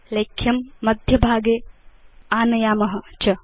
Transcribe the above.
लेख्यं मध्यभागे आनयाम च